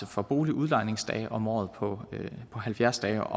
for boligudlejningsdage om året på halvfjerds dage